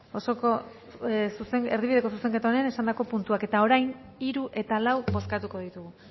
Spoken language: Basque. erdibideko zuzenketaren esandako puntuak eta orain hiru eta lau bozkatuko ditugu